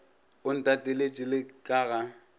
o ntateletše le ka ga